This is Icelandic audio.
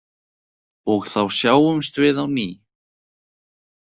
Og þá sjáumst við á ný.